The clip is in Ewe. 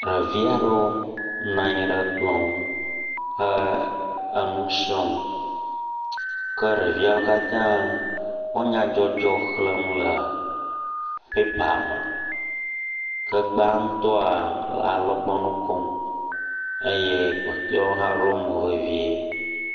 Ɖevi aɖewo nɔ anyi ɖe kplɔ nu he enu srɔ̃m ke ɖeviawo katã wo nyadzɔdzɔ xlem le pɛpa me. Ke gbãtɔ alɔgbɔnu kom eye kpɔtɔewo hã ɖo mo vevi.